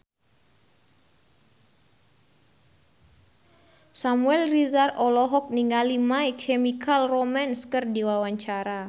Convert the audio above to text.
Samuel Rizal olohok ningali My Chemical Romance keur diwawancara